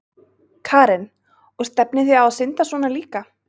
Karen: Og stefnið þið á að synda svona líka?